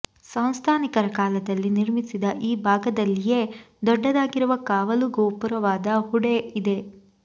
ಸಂಸ್ಥಾನಿಕರ ಕಾಲದಲ್ಲಿ ನಿರ್ಮಿಸಿದ ಈ ಭಾಗದಲ್ಲಿಯೇ ದೊಡ್ಡದಾಗಿರುವ ಕಾವಲುಗೋಪುರವಾದ ಹುಡೆ ಇದೆ